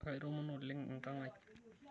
Aitoomono oleng' enkang' ai.